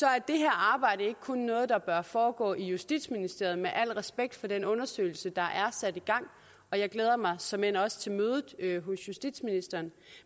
er det her arbejde ikke kun noget der bør foregå i justitsministeriet med al respekt for den undersøgelse der er sat i gang og jeg glæder mig såmænd også til mødet hos justitsministeren